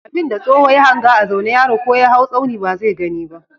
Abin da tsoho ya hanga a zaune yaro ko ya haw tsauni ba zai gani ba.